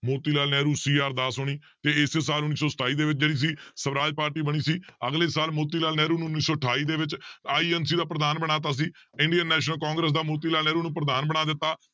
ਮੋਤੀ Lal Nehru, C R Das ਹੋਣੀ ਤੇ ਇਸੇ ਸਾਲ ਉੱਨੀ ਸੌ ਸਤਾਈ ਦੇ ਵਿੱਚ ਜਿਹੜੀ ਸੀ ਸਵਰਾਜ ਪਾਰਟੀ ਬਣੀ ਸੀ ਅਗਲੇ ਸਾਲ ਮੋਤੀ ਲਾਲ ਨਹਿਰੂ ਨੂੰ ਉੱਨੀ ਸੌ ਅਠਾਈ ਦੇ ਵਿੱਚ INC ਦਾ ਪ੍ਰਧਾਨ ਬਣਾ ਦਿੱਤਾ ਸੀ ਇੰਡੀਅਨ ਨੈਸ਼ਨਲ ਕਾਂਗਰਸ਼ ਦਾ ਮੋਤੀ ਲਾਲ ਨਹਿਰੂ ਨੂੰ ਪ੍ਰਧਾਨ ਬਣਾ ਦਿੱਤਾ